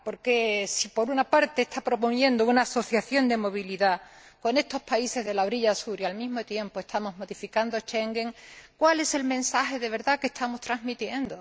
Porque si, por una parte, se está proponiendo una asociación de movilidad con estos países de la orilla Sur y al mismo tiempo estamos modificando Schengen, ¿cuál es el mensaje de verdad que estamos transmitiendo?